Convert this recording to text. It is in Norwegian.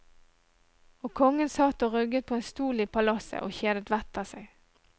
Og kongen satt og rugget på en stol i palasset og kjedet vettet av seg.